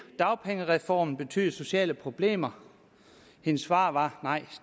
dagpengereformen betyde sociale problemer hendes svar var nej